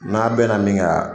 N'a bɛn na nin kan